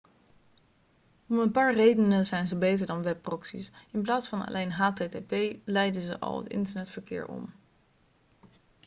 om een paar redenen zijn ze beter dan webproxy's in plaats van alleen http leiden ze al het internetverkeer om